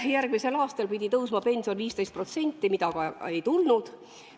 Kohe järgmisel aastal pidid pensionid tõusma 15%, seda aga ei tulnud.